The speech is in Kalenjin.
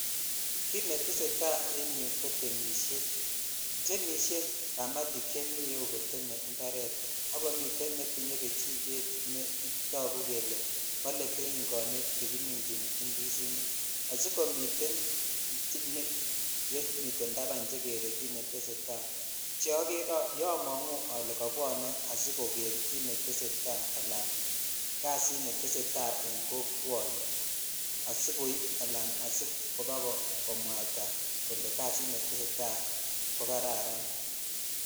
Kit netesetai en yuu ko temishet temishe kamayik chemi iyeu komiten imparet ak komiten netinye kechiket netoku kele bole keringonik chekiminchin indizinik asikomiten chemiten taban che keree kit netesetai cheomongu ole kabwonw asikoker kit netesetai ala kasit netesetai en kokwoni asikoib ala asibakomwataa kole kasit netesetai ko kararan.